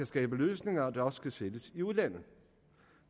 skabe løsninger der også kan sælges i udlandet